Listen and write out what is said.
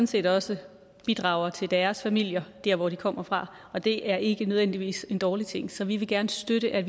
set også bidrager til deres familier der hvor de kommer fra og det er ikke nødvendigvis en dårlig ting så vi vil gerne støtte at